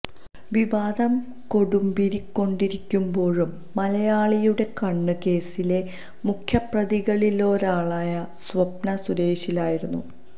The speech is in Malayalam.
വിവാദം കൊടുമ്പിരി കൊണ്ടിരിക്കുമ്പോഴും മലയാളിയുടെ കണ്ണ് കേസിലെ മുഖ്യപ്രതികളിലൊരാളായ സ്വപ്ന സുരേഷിലായിരുന്നു